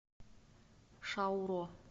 шауро